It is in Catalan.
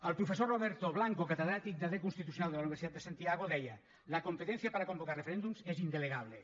el professor roberto blanco catedràtic de dret constitucional de la universitat de santiago deia la competencia para convocar referéndums es indelegable